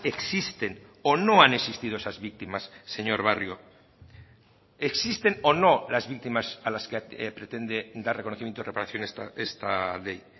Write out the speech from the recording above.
existen o no han existido esas víctimas señor barrio existen o no las víctimas a las que pretende dar reconocimiento o reparación esta ley